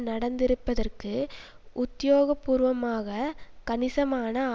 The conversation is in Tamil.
நடந்திருப்பதற்கு உத்தியோக பூர்வமாக கணிசமான